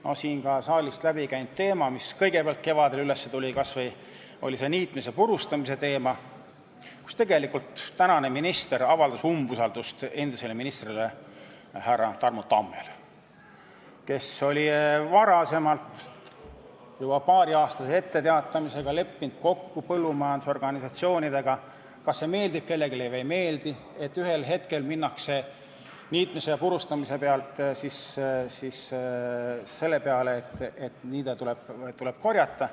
Ka siit saalist on läbi käinud teema, mis kõigepealt kevadel üles tuli, see oli see niitmise ja purustamise teema, kui tänane minister tegelikult avaldas umbusaldust endisele ministrile härra Tarmo Tammele, kes oli varem juba paariaastase etteteatamisega leppinud kokku põllumajandusorganisatsioonidega – kas see siis kellelegi meeldib või ei meeldi –, et ühel hetkel minnakse niitmise ja purustamise pealt üle sellele, et niide tuleb ära korjata.